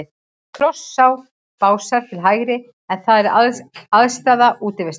Krossá og Básar til hægri, en þar er aðstaða Útivistar.